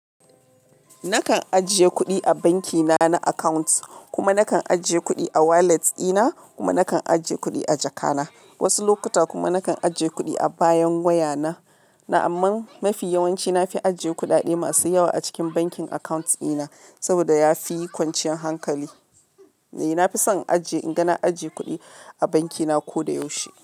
Nakan ajiye kuɗi a banki na na account, kuma nakan ajiye kuɗi a wallet ɗina, kuma nakan ajiye kuɗi a jaka na. Wasu lokuta kuma nakan ajiye kuɗi a bayan waya na. Na'amman mafi yawanci na fi ajiye kuɗaɗe masu yawa a cikin bankin account ɗina, saboda yafi kwanciyar hankali. A, na fi son ajiye, inga na ajiye kuɗi a banki na ko da yaushe.